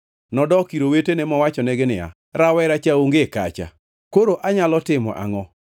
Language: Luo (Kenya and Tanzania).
Nodok ir owetene mowachonegi niya, “Rawera cha onge kacha! Koro anyalo timo angʼo?”